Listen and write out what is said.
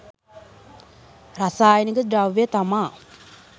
රසායනික ද්‍රව්‍ය තමා.